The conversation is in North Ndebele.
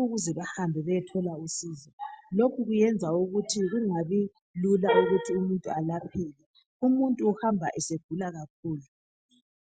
ukuze bahambe bayathola usizo lokhu kuyenza ukuthi kungabi lula ukuthi umuntu alapheke ,umuntu uhamba segula kakhulu.